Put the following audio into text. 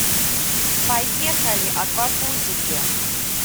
поехали аквапузики